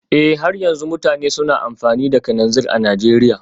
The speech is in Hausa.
Eh har yanzu mutane suna amfani da kananzir a Najeriya